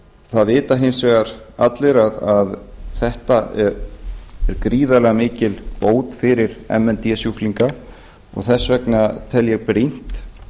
það vita hins vegar allir að þetta er gríðarlega mikil bót fyrir m n d sjúklinga þess vegna tel ég brýnt